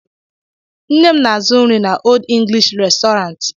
Nne m na-azụ nri n'Old English restaurant.